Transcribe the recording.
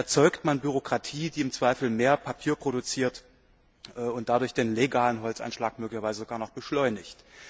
Da erzeugt man Bürokratie, die im Zweifel mehr Papier produziert und dadurch den legalen Holzeinschlag möglicherweise sogar noch beschleunigt.